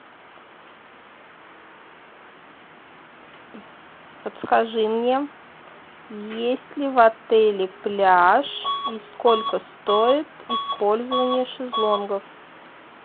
подскажи мне есть ли в отеле пляж и сколько стоит использование шезлонгов